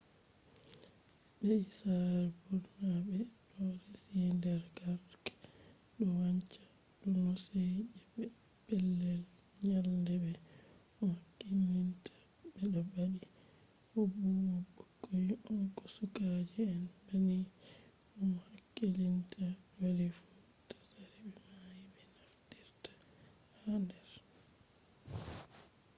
be’i sare ɓurna ɓe ɗo resi der garke ɗo wancha do hoseji be pellel nyalde be mo hakkilinta ɓe ɗo ɓadi bo ɓurna ɓukkoi on ko sukaje en banni bo mo hakkilinta bali fu. tsari be mai ɓe naftirta har hande